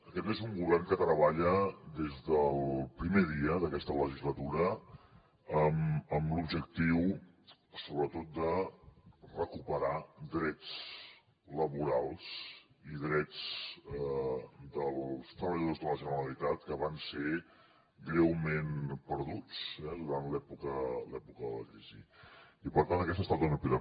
aquest és un govern que treballa des del primer dia d’aquesta legislatura amb l’objectiu sobretot de recuperar drets laborals i drets dels treballadors de la generalitat que van ser greument perduts eh durant l’època de la crisi i per tant aquesta ha estat una prioritat